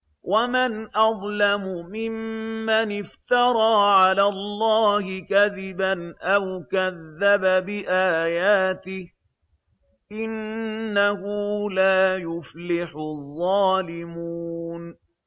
وَمَنْ أَظْلَمُ مِمَّنِ افْتَرَىٰ عَلَى اللَّهِ كَذِبًا أَوْ كَذَّبَ بِآيَاتِهِ ۗ إِنَّهُ لَا يُفْلِحُ الظَّالِمُونَ